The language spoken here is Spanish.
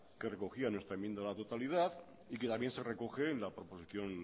que recogía nuestra enmienda a la totalidad y que también se recoge en la proposición